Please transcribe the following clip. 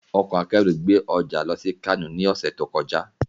Ọkọ̀ akérù gbé ọjà lọ sí Kánò ní ọ̀sẹ̀ tó kọjá